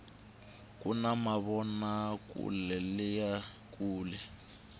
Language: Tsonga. kuna mavonakuleleyi kulu